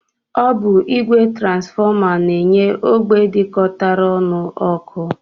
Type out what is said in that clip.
Ọ bụ ìgwè transfọma na-enye ógbè dịkọtara ọnụ ọkụ